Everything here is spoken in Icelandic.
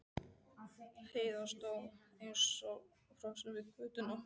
Heiða stóð eins og frosin við götuna.